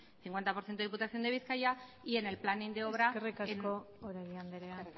cincuenta por ciento diputación de bizkaia y en el planing de obra eskerrik asko oregi andrea